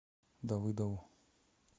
давыдову